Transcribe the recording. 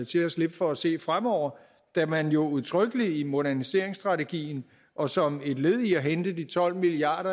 til at slippe for at se fremover da man jo udtrykkeligt i moderniseringsstrategien og som et led i at hente de tolv milliard